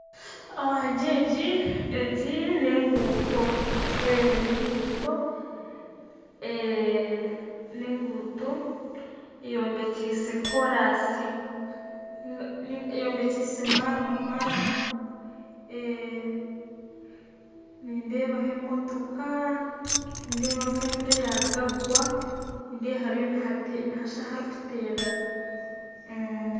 Egi nenguuto ya maramu, nindeeho emotoko nindeeba nk'enjura eyaruga kugwa, nindeeba nihashusha aharikuterera.